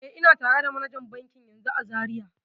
E, ina tare da manajan bankin yanzun a Zariya.